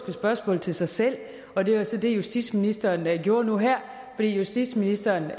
spørgsmål til sig selv og det var så det justitsministeren gjorde nu her for justitsministeren